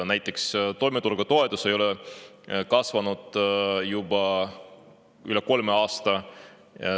Näiteks toimetulekutoetus ei ole kasvanud juba üle kolme aasta.